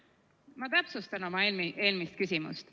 Ma täpsustan oma eelmist küsimust.